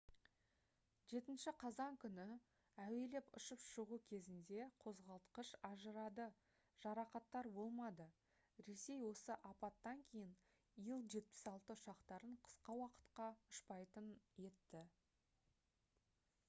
7 қазан күні әуелеп ұшып шығу кезінде қозғалтқыш ажырады жарақаттар болмады ресей осы апаттан кейін ил-76 ұшақтарын қысқа уақытқа ұшпайтын етті